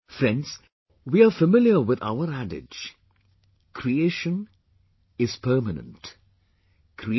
Friends, we are familiar with our adage 'Creation is permanent...